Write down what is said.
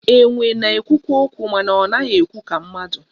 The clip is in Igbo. Enwe na-ekwukwa okwu mana ọ naghị ekwu ka mmadụ